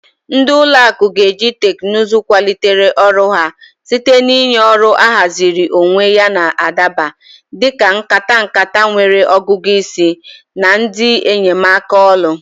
Ndị ụlọ akụ ga-eji teknụzụ kwalite ọrụ ha site na ịnye ọrụ ahaziri onwe yana adaba, dị ka nkata nkata nwere ọgụgụ isi na ndị enyemaka olu.